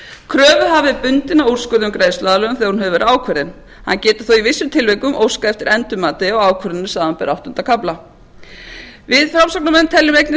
kröfuhafi er bundinn af úrskurði um greiðsluaðlögun þegar hún hefur verið ákveðin hann getur þó í vissum tilvikum óskað eftir endurmati á ákvörðunin samanber áttunda kafla við framsóknarmenn teljum einnig